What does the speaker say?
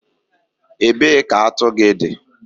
Ebee ka atu gị dị?